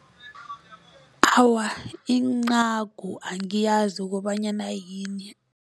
Awa incagu angiyazi kobanyana yini.